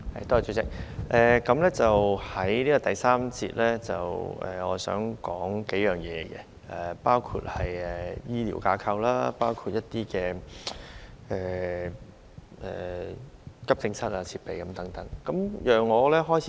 代理主席，在第三個辯論環節，我想談及包括醫療架構、急症室設備等數方面的事宜。